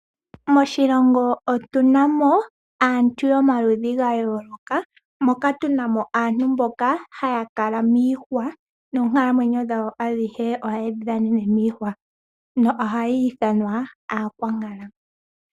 Moshilongo otu na mo aantu yomaludhi ga yooloka, moka tu na mo aantu mboka ha ya kala miihwa, noonkalamwenyo dhawo adhihe oha ye dhi dhanene miihwa nohaya ithanwa Aakwankala